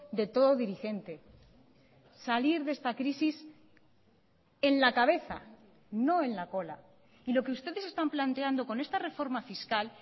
de todo dirigente salir de esta crisis en la cabeza no en la cola y lo que ustedes están planteando con esta reforma fiscal